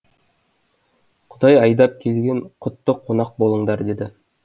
құдай айдап келген құтты қонақ болдыңдар деді